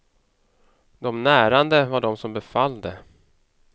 De närande var de som befallde.